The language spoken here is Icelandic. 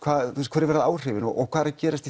hver verða áhrifin og hvað er að gerast í